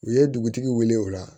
U ye dugutigi wele o la